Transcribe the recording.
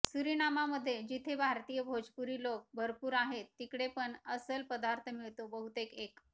Suriname मधे जिथे भारतीय भोजपुरी लोक भरपूर आहेत तिकडे पण असल पदार्थ मिळतो बहुतेक एक